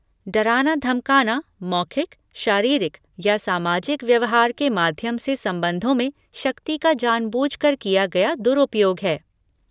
डराना धमकाना मौखिक, शारीरिक या सामाजिक व्यवहार के माध्यम से संबंधों में शक्ति का जानबूझकर किया गया दुरुपयोग है।